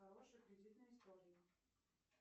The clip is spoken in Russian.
хорошей кредитной истории